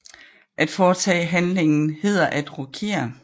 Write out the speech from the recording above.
At foretage handlingen hedder at rokere